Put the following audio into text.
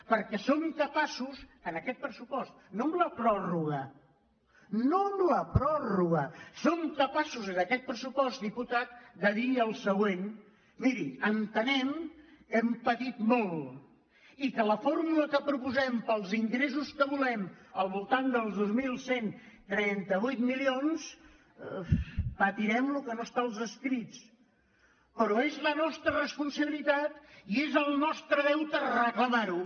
perquè som capaços en aquest pressupost no amb la pròrroga no amb la pròrroga som capaços en aquest pressupost diputat de dir el següent miri entenem que hem patit molt i que amb la fórmula que proposem per als ingressos que volem al voltant dels dos mil cent i trenta vuit milions patirem el que no està als escrits però és la nostra responsabilitat i és el nostre deute recla·mar·ho